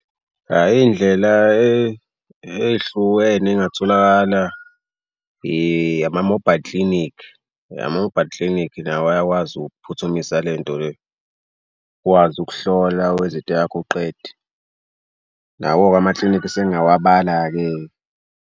Hhayi iy'ndlela ey'hlukene ey'ngatholakala ama-mobile clinic. Ama-mobile clinic nawo ayakwazi ukphuthumisa le nto le ukwazi ukuhlola wenze into yakho uqede. Nawo-ke amaklinikhi sengingawabala-ke.